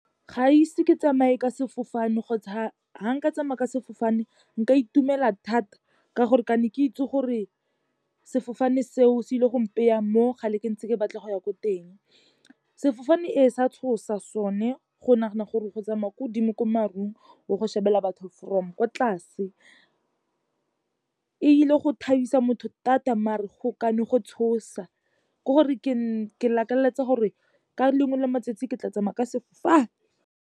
Ga ise ke tsamaye ka sefofane kgotsa ha nka tsamaya ka sefofane nka itumela thata, ka gore ka ne ke itse gore sefofane seo se ile go mpeya mo ga le ke ntse ke batla go ya ko teng. Sefofane ee, se a tshosa sone go nagana gore go tsamaya ko godimo ko marung ao go shebelela batho from ko tlase. E ile go thabisa motho thata mare go kane go tshosa, ke gore ke lakaletsa gore ka lengwe la matsatsi ke tla tsamaya ka sefofane.